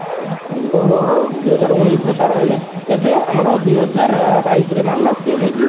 ଓହୋ ଦୁଇ ହାଜର ଉଣେଇଶି ରେ ତାର ହେଲେ ଏବେ ଦୁଇ ହଜାର ବାଇଶି ରେ ମାରିଲା ସିଏ ନାଇକି